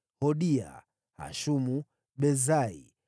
Hodia, Hashumu, Besai,